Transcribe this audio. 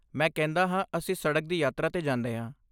ਮੈਂ ਕਹਿੰਦਾ ਹਾਂ, ਅਸੀਂ ਸੜਕ ਦੀ ਯਾਤਰਾ 'ਤੇ ਜਾਂਦੇ ਹਾਂ।